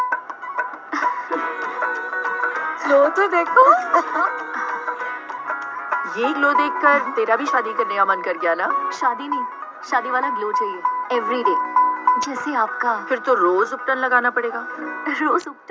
ਯੇਹ ਲੋਗ ਦੇਖਕਰ ਤੇਰਾ ਵੀ ਸ਼ਾਦੀ ਕਰਨੇ ਕਾ ਮਨ ਕਰ ਗਿਆ ਨਾ, ਸ਼ਾਦੀ ਨਹੀਂ, ਸ਼ਾਦੀ ਵਾਲਾ glow ਚਾਹੀਏ, everyday ਜੈਸੇ ਆਪਕਾ ਫਿਰ ਤੋਂ ਰੋਜ਼ ਲਗਾਨਾ ਪੜੇਗਾ।